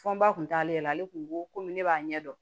Fɔ n ba tun t'ale la ale kun ko komi ne b'a ɲɛ dɔn